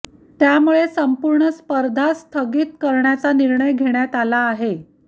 त्यामुळे संपूर्ण स्पर्धाच स्थगित करण्याचा निर्णय घेण्यात आला आहे